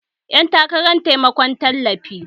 Yan takarar taimakon tallafi